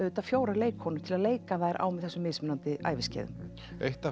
fjórar leikkonur til að leika þær á þessum mismunandi æviskeiðum eitt af